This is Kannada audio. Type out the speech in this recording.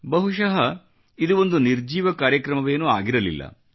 ಬಹುಶಃ ಇದು ಒಂದು ನಿರ್ಜೀವ ಕಾರ್ಯಕ್ರಮವೇನೂ ಆಗಿರಲಿಲ್ಲ